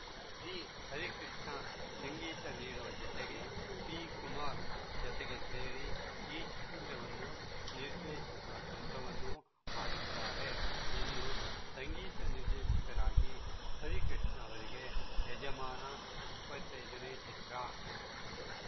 V Harikrishna ಸಂಗೀತ ನೀಡುವ ಜತೆಗೆ ಪಿಕುಮಾರ್‌ ಜತೆಗೆ ಸೇರಿ ಈ ಚಿತ್ರವನ್ನು ನಿರ್ದೇಶಿಸುವ ಕೆಲಸವನ್ನೂ ಮಾಡಿದ್ದಾರೆ ಇನ್ನೂ ಸಂಗೀತ ನಿರ್ದೇಶಕರಾಗಿ ಹರಿಕೃಷ್ಣ ಅವರಿಗೆ ಯಜಮಾನ ಇಪ್ಪತ್ತೈದು ನೇ ಚಿತ್ರ